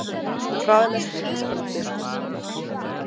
Hraðlest í Þýskalandi.